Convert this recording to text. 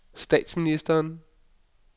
statsministeren